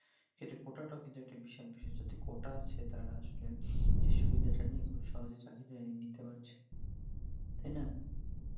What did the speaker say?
কোটা টাও কিন্তু কোটা আছে তারা আসলে যে সুবিধা নিয়ে খুব সহজে চাকরি নিতে পারছে।